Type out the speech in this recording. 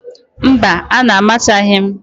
Mba, a na-amachaghị m